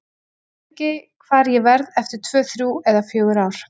Ég veit ekki hvar ég verð eftir tvö, þrjú eða fjögur ár.